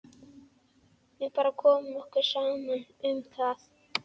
Við bara komum okkur saman um það.